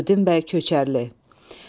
Firudin bəy Köçərli.